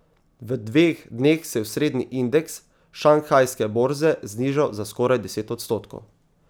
V dveh dneh se je osrednji indeks šanghajske borze znižal za skoraj deset odstotkov.